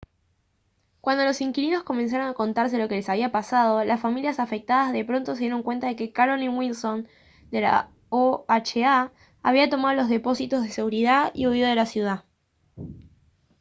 cuando los inquilinos comenzaron a contarse lo que les había pasado las familias afectadas de pronto se dieron cuenta de que carolyn wilson de la oha había tomado los depósitos de seguridad y huido de la ciudad